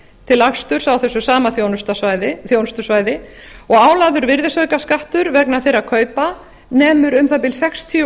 til aksturs á þessu saman þjónustusvæði og álagður virðisaukaskattur vegna þeirra kaupa nemur um að bil sextíu